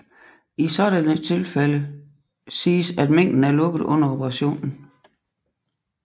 I sådan et tilfælde siges at mængden er lukket under operationen